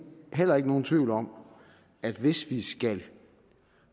heller ikke nogen tvivl om at hvis vi skal